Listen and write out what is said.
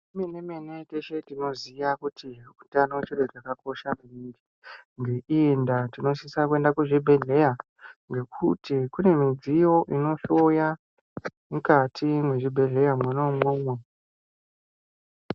Gwinyiso remene-mene teshe tinoziya kuti hutano chiro chakakosha maningi. Ngeiyi ndaa tinosise kuenda kuzvibhedleya ngekuti kune midziyo inohloya mukati mwezvibhedhlera monaimwomwo.